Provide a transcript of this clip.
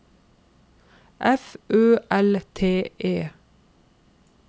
F Ø L T E